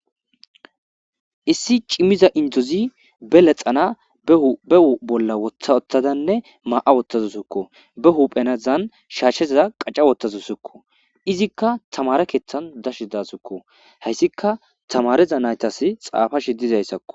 issi cimmiza indozi be lexana behu bolla wotha ottadanne maa7a wottazu sukko be huphenazan shaashshezaa qaca wottazu sukko izikka tamare keeththan dashi dasukko hayssika tamareza naytas xaafashe dizayssakko